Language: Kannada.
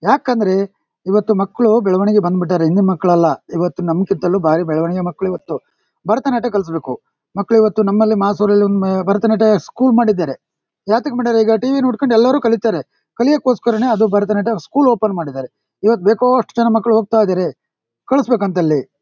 ಯಾಕಂದ್ರೆ ಇವತ್ತು ಮಕ್ಳು ಬೆಳವಣಿಗೆ ಬಂದ್ಬಿಟ್ಟಿದಾರೆ. ಹಿಂದೆ ಮಕ್ಳು ಅಲ್ಲ ಇವತ್ತು ನಮಗಿಂತಲೂ ಭಾರಿ ಬೆಳವಣಿಗೆ ಮಕ್ಳು ಇವತ್ತು. ಭರತನಾಟ್ಯ ಕಲಸಬೇಕು ಮಕ್ಳು ಇವತ್ತು ಮಾಸೂರಿಗೊಮ್ಮೆ ಭರತನಾಟ್ಯ ಸ್ಕೂಲ್ ಮಾಡಿದ್ದಾರೆ. ಯಾತಿಗ್ ಮಾಡಿದಾರ್ ಈಗ ಟಿ ವಿ ನೋಡ್ಕೊಂಡ್ ಎಲ್ಲರೂ ಕಲಿತಾರೆ ಕಲಿಯಕ್ ಗೋಸ್ಕರಾನೇ ಅದು ಭರತನಾಟ್ಯ ಸ್ಕೂಲ್ ಓಪನ್ ಮಾಡಿದಾರೆ. ಇವಾಗ್ ಬೇಕಾದಷ್ಟು ಜನ ಮಕ್ಳು ಹೋಗ್ತಾ ಇದಾರೆ ಕಳಸಬೇಕಂತೆ ಅಲ್ಲಿ.